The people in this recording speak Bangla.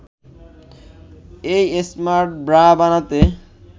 এই স্মার্ট ব্রা বানাতে